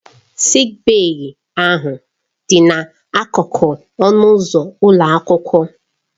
Sịịk bèyí ahụ dị n'akụkụ ọnụ ụzọ ụlọ akwụkwọ.